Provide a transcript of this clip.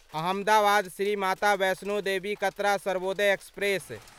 Ahmedabad Shri Mata Vaishno Devi Katra Sarvodaya express